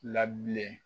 Labilen